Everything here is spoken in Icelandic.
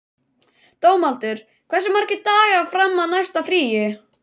Dómaldur, hversu margir dagar fram að næsta fríi?